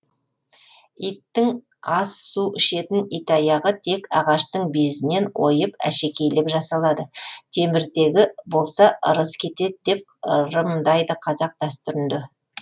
иттің ас су ішетін итаяғы тек ағаштың безінен ойып әшекейлеп жасалады темірдегі болса ырыс кетеді деп ырымдайды қазақ дәстүрінде